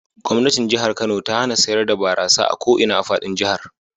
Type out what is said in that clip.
Gwamnatin Jihar Kano ta hana sayar da barasa a ko ina a fadin jihar.